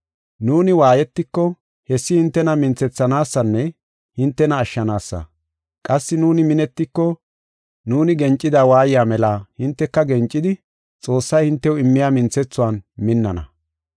Nuuni waayetiko hessi hintena minthethanaasanne hintena ashshanaasa. Qassi nuuni minetiko nuuni gencida waayiya mela hinteka gencidi, Xoossay hintew immiya minthethuwan minnana.